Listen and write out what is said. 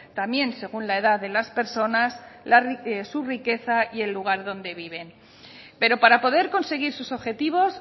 también según la edad de las personas su riqueza y el lugar donde viven pero para poder conseguir sus objetivos